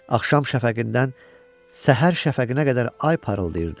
Axşam şəfəqindən səhər şəfəqinə qədər ay parıldayırdı.